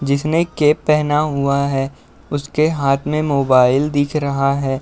जिसने कैप पहना हुआ है उसके हाथ मे मोबाइल दिख रहा है।